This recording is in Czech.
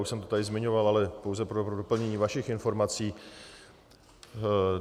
Už jsem to tady zmiňoval, ale pouze pro doplnění vašich informací.